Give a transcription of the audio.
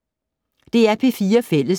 DR P4 Fælles